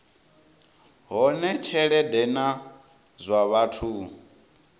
hone tshelede na zwa vhathu